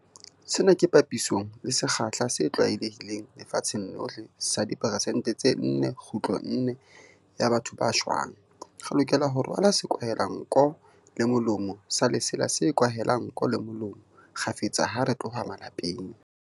Sena ke papisong le sekgahla se tlwaelehileng lefatsheng lohle sa diperesente tse 4.4 ya batho ba shwang. Re lokela ho rwala sekwahelanko le molomo sa lesela se kwahelang nko le molomo kgafetsa ha re tloha malapeng.